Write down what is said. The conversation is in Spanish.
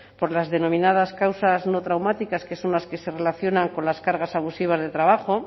por las denominadas causas no traumáticas que son las que se relaciona con las cargas abusivas de trabajo